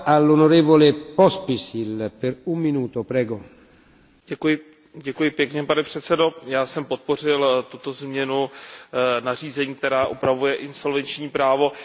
Pane předsedající, já jsem podpořil tuto změnu nařízení, která upravuje insolvenční právo. Včera jsem byl též přítomen oné debatě, ale bohužel jsem nestihl říci jeden z podstatných důvodů.